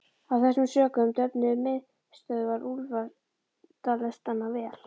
Af þessum sökum döfnuðu miðstöðvar úlfaldalestanna vel.